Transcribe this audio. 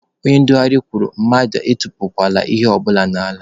Onye ndugharị kwuru mmadụ atụpụla ihe ọbụla n'ala.